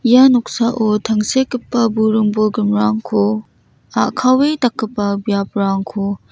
ia noksao tangsekgipa burung bolgrimrangko a·kawe dakgipa biaprangko--